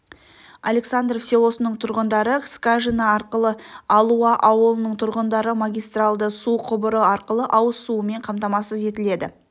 александров селосының тұрғындары скажина арқылы алуа ауылының тұрғындары магистралды су құбыры арқылы ауыз суымен қамтамасыз етіледі